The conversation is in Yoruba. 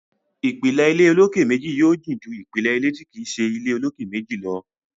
ìpìlẹ̀ ilé olókè méjì yóò jìn ju ìpìlẹ̀ ilé tí kìí ṣe ilé olókè méjì lọ.